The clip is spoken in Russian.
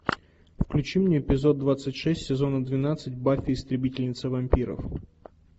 включи мне эпизод двадцать шесть сезона двенадцать баффи истребительница вампиров